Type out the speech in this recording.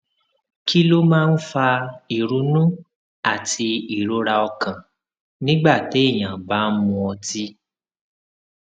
kí ló máa ń fa ìrunú àti ìrora ọkàn nígbà téèyàn bá ń mu ọtí